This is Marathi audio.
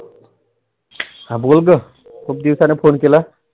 हा बोल ग खुप दिवसानी. Phone केलास.